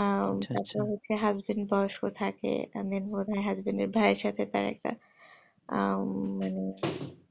আহ তারপর হচ্ছে husband বয়স্ক থাকে আর main বোধয় husband এর ভাই এর সাথে তার একটা আহ উম